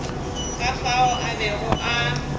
ka fao a bego a